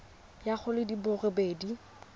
ya go di le robedi